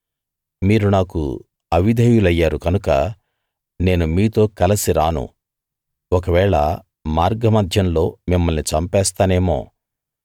మీరు నాకు అవిధేయులయ్యారు కనుక నేను మీతో కలసి రాను ఒకవేళ మార్గమధ్యంలో మిమ్మల్ని చంపేస్తానేమో